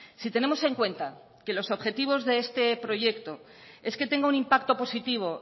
si tenemos en cuenta que los objetivos de este proyecto es que tenga un impacto positivo